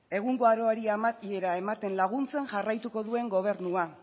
egungo aroari amaiera ematen laguntzen jarraituko duen gobernua